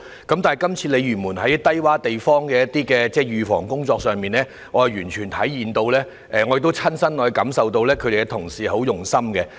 但是，就這次鯉魚門一些低窪地方的預防工作上，我完全體會到，也親身感受到發展局同事很用心處理。